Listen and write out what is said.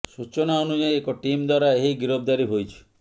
ସୂଚନା ଅନୁଯାୟୀ ଏକ ଟିମ୍ ଦ୍ବାରା ଏହି ଗିରଫଦାରୀ ହୋଇଛି